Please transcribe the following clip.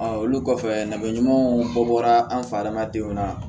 olu kɔfɛ nafa ɲumanw bɔra an fɛ adamadenw na